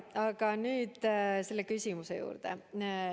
Aga nüüd selle küsimuse juurde.